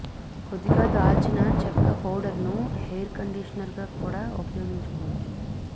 కొద్దిగా దాల్చిన చెక్క పౌడర్ ను హెయిర్ కండీషనర్ గా కూడా ఉపయోగించుకోవచ్చు